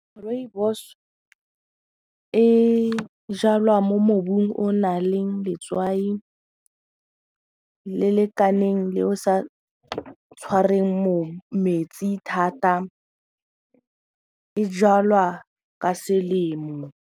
Rooibos e jalwa mo mobung o naleng letswai le lekaneng le o sa tshwarweng metsi thata, e jalwa ka selemo.